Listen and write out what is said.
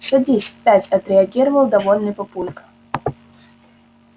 садись пять отреагировал довольный папулька